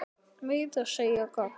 Meira að segja gagn.